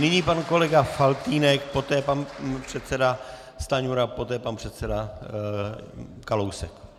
Nyní pan kolega Faltýnek, poté pan předseda Stanjura, poté pan předseda Kalousek.